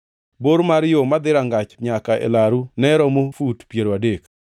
Bor mar yo moa e dhorangach nyaka e laru ne romo fut piero adek.